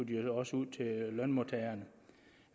de også ud til lønmodtagerne